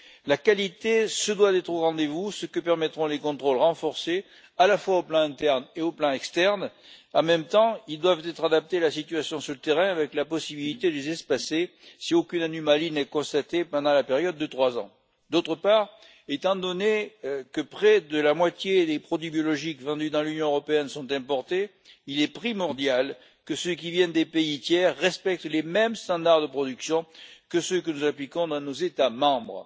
La qualité se doit d'être au rendez vous, ce que permettront les contrôles renforcés au plan interne et externe. En même temps, ces contrôles doivent être adaptés à la situation sur le terrain avec la possibilité de les espacer si aucune anomalie n'est constatée pendant une période de trois ans. D'autre part, étant donné que près de la moitié des produits biologiques vendus dans l'Union européenne sont importés, il est primordial que ceux qui viennent de pays tiers respectent les mêmes normes de production que celles que nous appliquons dans nos États membres.